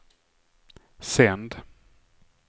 sänd